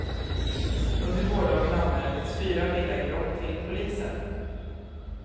Under gårdagen anmäldes fyra villainbrott till polisen.